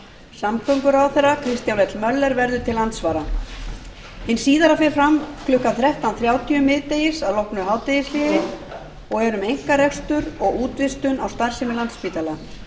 samgönguráðherra kristján l möller verður til andsvara hin síðari fer fram klukkan þrettán þrjátíu miðdegis að loknu hádegishléi og er um einkarekstur og útvistun á starfsemi landspítala